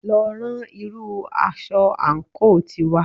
Lọ rán irú aṣọ àǹkóò tiwa